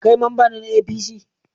Kai mamba ne na APC?